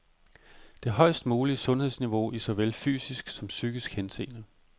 Det højest mulige sundhedsniveau i såvel fysisk som psykisk henseende.